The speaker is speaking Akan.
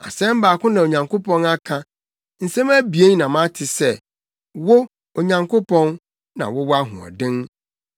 Asɛm baako na Onyankopɔn aka, nsɛm abien na mate sɛ, wo, Onyankopɔn, na wowɔ ahoɔden,